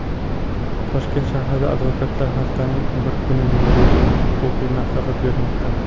Toshkent shahrida advokatlar haftaning bir kuni bepul huquqiy maslahat bermoqda.